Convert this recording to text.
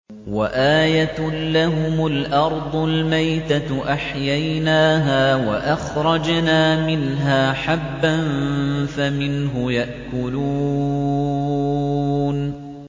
وَآيَةٌ لَّهُمُ الْأَرْضُ الْمَيْتَةُ أَحْيَيْنَاهَا وَأَخْرَجْنَا مِنْهَا حَبًّا فَمِنْهُ يَأْكُلُونَ